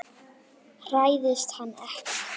Hræðist hann ekki.